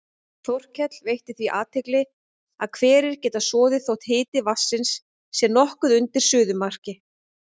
Þorkell veitti því athygli að hverir geta soðið þótt hiti vatnsins sé nokkuð undir suðumarki.